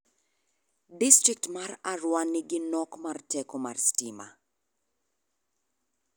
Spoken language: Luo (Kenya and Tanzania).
Distrikt mar Arua nigi nok mar teko sitima.